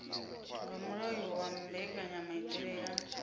nga mulayo wa mbekanyamaitele ya